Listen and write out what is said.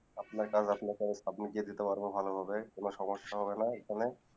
আপনা কারণ আপনাকে আমি submit দিতে পারবো ভালো ভাবে কোনো সমস্যা হবে না এখানে